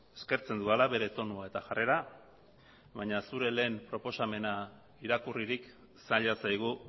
eskertzen dudala bere tonua eta jarrera baina zure lehen proposamena irakurririk zaila zaigu